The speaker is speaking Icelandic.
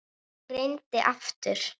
Ég reyni aftur